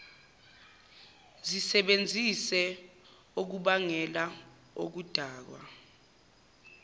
zisebenzise okubangela okudakwa